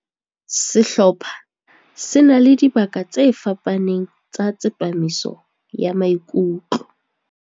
Sehlopha se na le dibaka tse fapaneng tsa tsepamiso ya maikutlo.